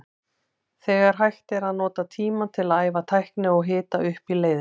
Þegar hægt er að nota tímann til að æfa tækni og hita upp í leiðinni.